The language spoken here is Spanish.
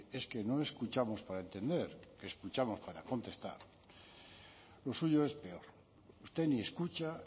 es que no escuchamos para entender que escuchamos para contestar lo suyo es peor usted ni escucha